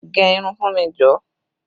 Gẹ irun fún mi jọ!